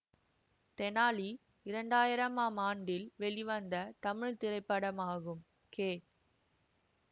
தெனாலி இரண்டு ஆயிரம் ஆம் ஆண்டில் வெளிவந்த தமிழ் திரைப்படமாகும் கே